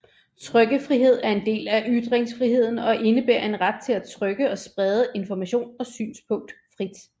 Trykkefrihed er en del af ytringsfriheden og indebærer en ret til at trykke og sprede information og synspunkt frit